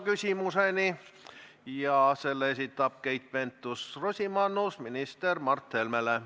Küsimuse esitab Keit Pentus-Rosimannus minister Mart Helmele.